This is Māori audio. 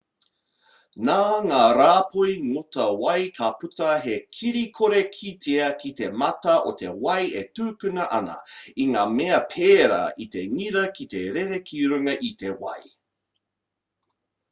nā ngā rāpoi ngota wai ka puta he kiri kore kitea ki te mata o te wai e tukuna ana i ngā mea pērā i te ngira ki te rere ki runga i te wai